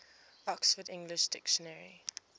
oxford english dictionary